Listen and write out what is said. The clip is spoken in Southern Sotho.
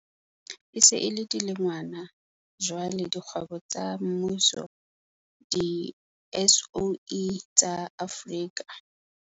E se e le dilengwana jwale dikgwebo tsa mmuso di-SOE tsa Afrika.